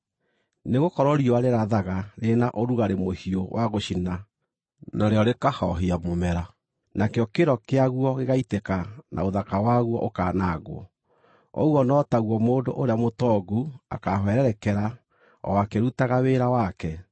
Nĩgũkorwo riũa rĩrathaga rĩrĩ na ũrugarĩ mũhiũ wa gũcina narĩo rĩkahoohia mũmera; nakĩo kĩro kĩaguo gĩgaitĩka na ũthaka waguo ũkanangwo. Ũguo no taguo mũndũ ũrĩa mũtongu akaahwererekera o akĩrutaga wĩra wake.